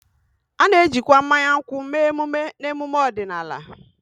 A na-ejikwa mmanya nkwụ mee emume na emume ọdịnala